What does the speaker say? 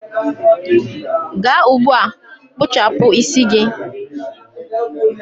gaa ugbua kpụchapụ isi gị!.